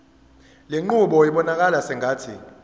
lenqubo ibonakala sengathi